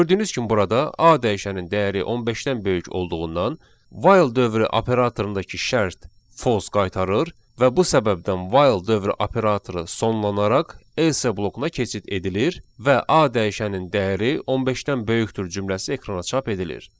Gördüyünüz kimi burada a dəyişənin dəyəri 15-dən böyük olduğundan while dövrü operatorundakı şərt false qaytarır və bu səbəbdən while dövrü operatoru sonlanaraq else blokuna keçid edilir və a dəyişənin dəyəri 15-dən böyükdür cümləsi ekrana çap edilir.